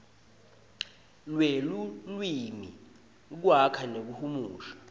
lwelulwimi kwakha nekuhumusha